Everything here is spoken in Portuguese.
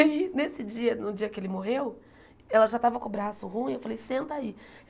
Aí, nesse dia, no dia que ele morreu, ela já estava com o braço ruim, eu falei, senta aí.